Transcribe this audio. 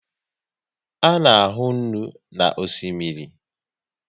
A na ahu nnu na osimiri